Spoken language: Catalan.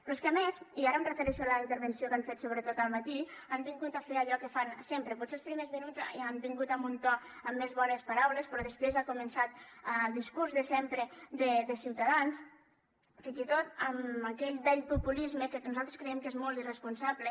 però és que a més i ara em refereixo a la intervenció que han fet sobretot al matí han vingut a fer allò que fan sempre potser els primers minuts han vingut amb un to amb més bones paraules però després ha començat el discurs de sempre de ciutadans fins i tot amb aquell vell populisme que nosaltres creiem que és molt irresponsable